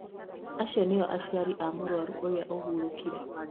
Acio nĩo aciari a mũrwaru ũrĩa ũhurũkire